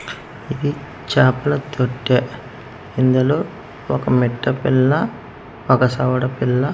ఇది చాపల తొట్టె ఇందులో ఒక మిట్ట పిల్ల ఒక సవడ పిల్ల --